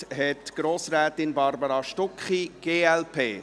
Das Wort hat Grossrätin Barbara Stucki, glp.